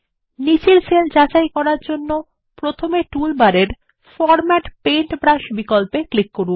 নীচের সেল যাচাই করার জন্য প্রথমে টুলবারে রংতুলি বিন্যাস অপশন এ ক্লিক করুন